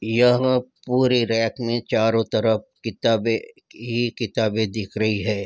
यहाँ पूरे रैक में चारों तरफ किताबें ही किताबे दिख रही है।